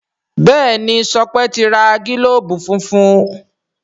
Béèni Sope ti rà gilobu fúnfún.